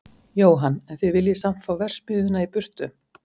Jóhann: En þið viljið samt fá verksmiðjuna í burtu?